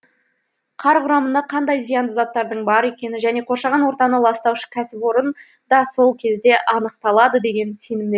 қар құрамында қандай зиянды заттардың бар екені және қоршаған ортаны ластаушы кәсіпорын да сол кезде анықталады деген сенімде